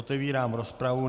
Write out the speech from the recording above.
Otevírám rozpravu.